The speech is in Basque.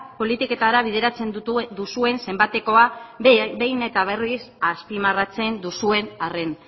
politiketara bideratzen duzuen zenbatekoa behin eta berriz azpimarratzen duzuen arren